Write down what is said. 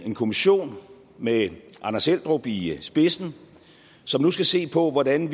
en kommission med anders eldrup i spidsen som nu skal se på hvordan